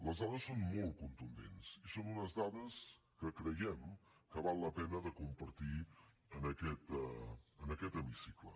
les dades són molt contundents i són unes dades que creiem que val la pena compartir en aquest hemicicle